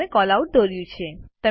તમે કેલઆઉટ દોર્યું છે